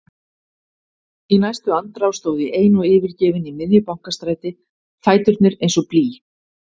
Í næstu andrá stóð ég ein og yfirgefin í miðju Bankastræti, fæturnir eins og blý.